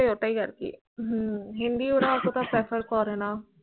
ওই তাই আর কি Hindi ওরা এতটা prefer করে না